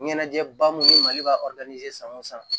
Ɲɛnajɛba mun ni mali ka san o san